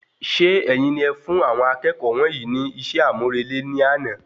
Ṣe ẹ̀yin ní ẹ fún àwọn akẹ́kọ̀ọ́ wọnyii ní iṣẹ́ amurele ní àna